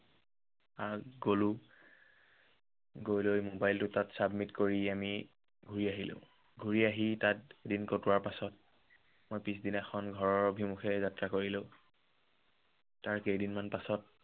তাত গলো গৈ লৈ mobile টো তাত submit কৰি আমি ঘূৰি আহিলো। ঘূৰি আহি তাত দিন কটোৱাৰ পাছত, মই পিচদিনাখন ঘৰৰ অভিমুখে যাত্ৰা কৰিলো। তাৰ কেইদিন মান পাছত